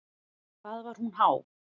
Hvað var hún há?